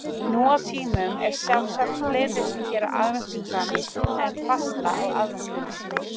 Nú á tímum eru sjálfsagt fleiri sem gera aðventukrans en fasta á aðventunni.